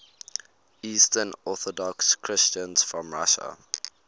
eastern orthodox christians from russia